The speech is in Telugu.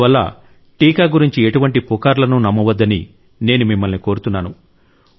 అందువల్ల టీకా గురించి ఎటువంటి పుకార్లనూ నమ్మవద్దని నేను మిమ్మల్ని కోరుతున్నాను